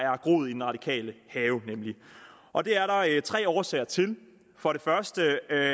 har groet i den radikale have og det er der tre årsager til for det første